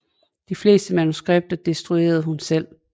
De fleste manuskripter destruerede hun selv